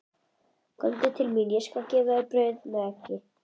Komdu til mín, ég skal gefa þér brauð með eggi.